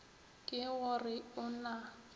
ke go re o na